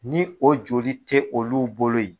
Ni o joli tɛ olu bolo ye.